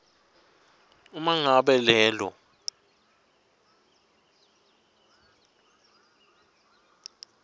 uma ngabe lelo